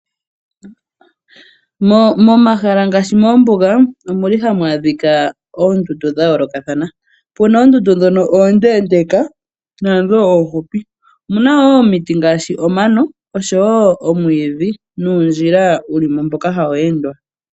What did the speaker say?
Momahala ngaashi moombuga omu li hamu adhika oondundu dha yoolokathana. Opuna oondundu dhono oondeendeka naadho oohupi. Omuna wo omiti ngaashi Omano oshowo omwiidhi nuundjila wu li mo mboka hawu endwa.